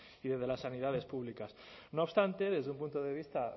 y desde las sanidades públicas no obstante desde un punto de vista